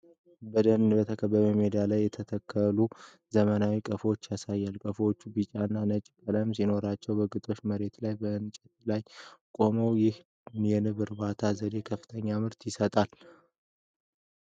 በደን በተከበበ ሜዳ ላይ የተተከሉ ዘመናዊ ቀፎዎችን ያሳያል። ቀፎዎቹ ቢጫና ነጭ ቀለም ሲኖራቸው፣ በግጦሽ መሬት ላይ በእንጨት ላይ ቆመዋል። ይህ የንብ እርባታ ዘዴ ከፍተኛ ምርት ይሰጣል?